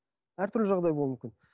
әр түрлі жағдай болуы мүмкін